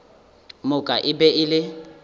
moka e be e le